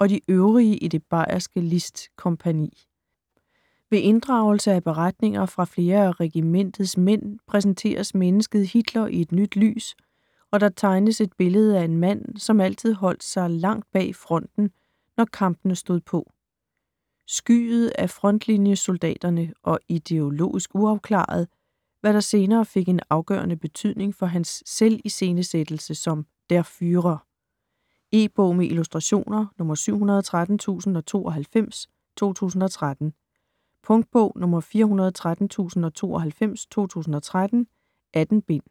og de øvrige i det bayerske List-kompagni. Ved inddragelse af beretninger fra flere af regimentets mænd præsenteres mennesket Hitler i et nyt lys og der tegnes et billede af en mand, som altid holdt sig langt bag fronten, når kampene stod på. Skyet af frontlinjesoldaterne og ideologisk uafklaret, hvad der senere fik en afgørende betydning for hans selviscenesættelse som Der Führer. E-bog med illustrationer 713092 2013. Punktbog 413092 2013. 18 bind.